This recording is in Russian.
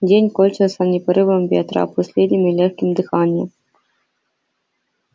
день кончился не порывом ветра а последним лёгким дыханием